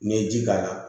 N'i ye ji k'a la